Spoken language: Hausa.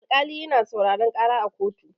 Alkali yana sauraron ƙara a kotu.